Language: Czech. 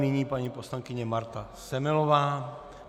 Nyní paní poslankyně Marta Semelová.